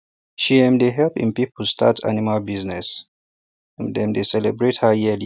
she um dey help um people start animal business um dem dey celebrate her yearly